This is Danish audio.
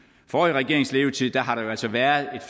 forrige regerings levetid har der jo altså været